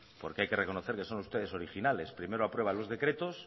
porque hay que reconocer que son ustedes originales primero aprueban los decretos